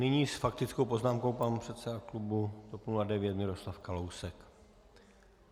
Nyní s faktickou poznámkou pan předseda klubu TOP 09 Miroslav Kalousek.